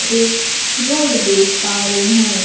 एक रोड देख पा रही हूं।